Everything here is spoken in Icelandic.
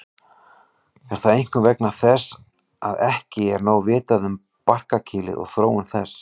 Er það einkum vegna þess að ekki er nóg vitað um barkakýlið og þróun þess.